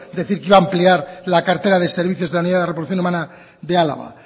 decir que va a ampliar la cartera de servicios de la unidad de reproducción humana de álava